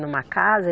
Numa casa?